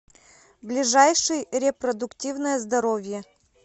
ближайший репродуктивное здоровье